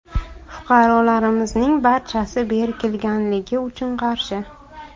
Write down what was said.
Fuqarolarimizning barchasi berkilganligi uchun qarshi.